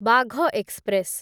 Bagh express